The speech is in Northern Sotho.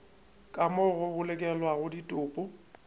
ka moo go bolokelwago ditopo